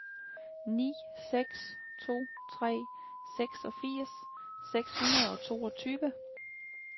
ni seks to tre seksogfirs seks hundrede og toogtyve